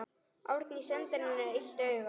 Árný sendir henni illt auga.